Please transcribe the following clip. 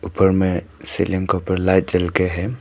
ऊपर में सीलिंग के ऊपर लाइट जल के है।